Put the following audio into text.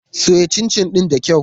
Soya cincin ɗin da kyau.